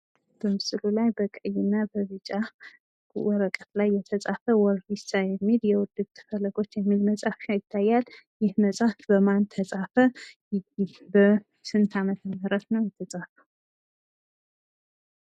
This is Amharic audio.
በምስሉ ላይ በቀይና በቢጫ ወረቀት ላይ የተጻፈ ወሪሳ (የውድቅት ፈለጎች) የሚል መጽሃፍ ይታያል። ይህ መጽሃፍ በማን ተጻፈ? በስንት አመተምህረት ተጻፈ?